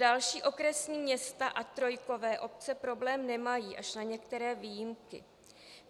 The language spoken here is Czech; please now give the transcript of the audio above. Další okresní města a trojkové obce problém nemají, až na některé výjimky.